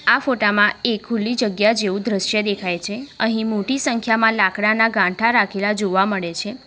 આ ફોટા માં એક ખુલી જગ્યા જેવું દ્રશ્ય દેખાય છે અહીં મોટી સંખ્યામાં લાકડાના ગાંઠા રાખેલા જોવા મળે છે.